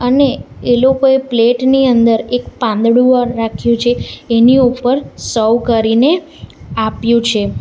અને એ લોકોએ પ્લેટ ની અંદર એક પાંદડું રાખ્યું છે એની ઉપર સર્વ કરીને આપ્યું છે.